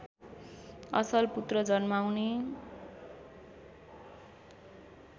असल पुत्र जन्माउने